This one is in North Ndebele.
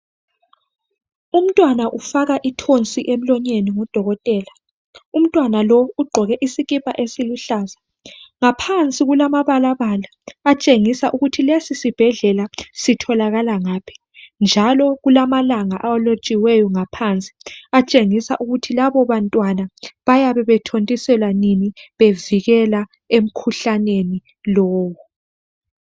Umntwana ufaka intonsi emlonyeni ngudokotela. Umntwana lo ugqoke isikipha esiluhlaza. Ngaphansi kulamabalabala atshengisa ukuthi lesi sibhendlela sitholakala ngaphi njalo kulamalanga alotshiweyo ngaphansi atshengisa ukuthi labobantwana bayabe bethontiselwa nini bevikela emkhuhlaneni lowo.